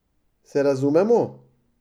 Se razumemo?